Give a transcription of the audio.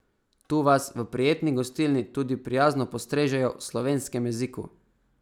Tu vas v prijetni gostilni tudi prijazno postrežejo v slovenskem jeziku.